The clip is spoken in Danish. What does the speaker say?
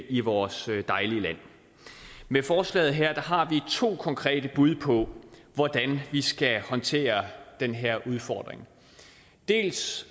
i vores dejlige land med forslaget her har vi to konkrete bud på hvordan vi skal håndtere den her udfordring dels